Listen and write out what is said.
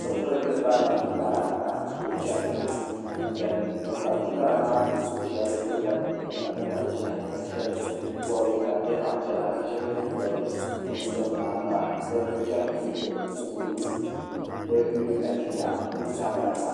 bi pirigili barila bin bara ka so chɛni tiŋa bin bari bin bara maa puuni shab pilila zipiliti ka di nyɛ zaɣ ʒiɛhi ka shab bobi ka di nyɛ zaɣ piɛla ka shab yɛ liiga nuɣso nima ka bi chɛni ti duri kunkuni bi mii galisiya bi mii zaa barila